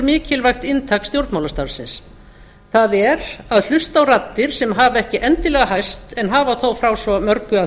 mikilvægt inntak stjórnmálastarfsins það er að hlusta á raddir sem hafa ekki endilega hæst en hafa þó frá svo mörgu að